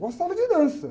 Gostava de dança.